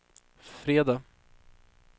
fredag